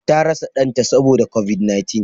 Ta rasa Dan ta Saboda covid-19.